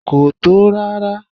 Kò tó rárá.